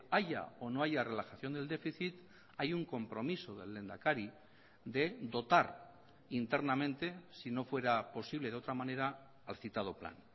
haya o no haya relajación del déficit hay un compromiso del lehendakari de dotar internamente si no fuera posible de otra manera al citado plan